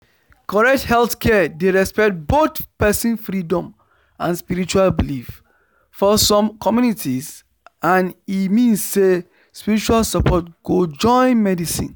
correct healthcare dey respect both person freedom and spiritual belief for some communities and e mean say spiritual support go join medicine